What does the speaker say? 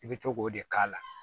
I bɛ to k'o de k'a la